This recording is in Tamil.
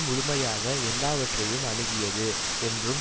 முழுமையாக எல்லாவற்றையும் அணுகியது என்றும்